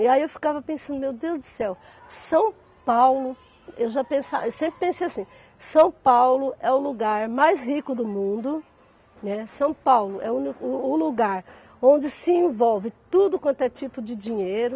E aí eu ficava pensando, meu Deus do céu, São Paulo, eu já pensa eu sempre pensei assim, São Paulo é o lugar mais rico do mundo, né, São Paulo é o uni o o lugar onde se envolve tudo quanto é tipo de dinheiro,